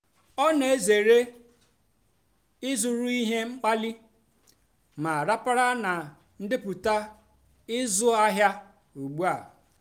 ọ́ nà-èzèré ị́zụ́rụ́ íhé mkpàlìì mà ràpárá nà ndépụ́tá ị́zụ́ àhịá ùgbúà.